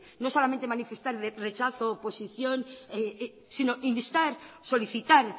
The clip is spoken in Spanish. no solamente manifestar rechazo oposición sino instar solicitar